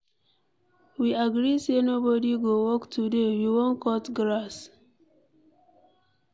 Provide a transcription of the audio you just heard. We agree say nobody go work today, we wan cut grass.